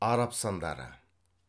араб сандары